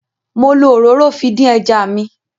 Mo lo òróró fi dín ẹja mi.